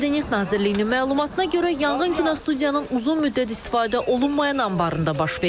Mədəniyyət Nazirliyinin məlumatına görə yanğın kinostudiyanın uzun müddət istifadə olunmayan anbarında baş verib.